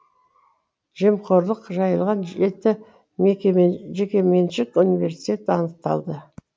жемқорлық жайлаған жеті жекеменшік университет анықталды